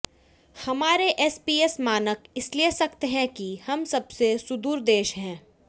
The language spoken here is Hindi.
हमारे एसपीएस मानक इसलिए सख्त हैं कि हम सबसे सुदूर देश हैं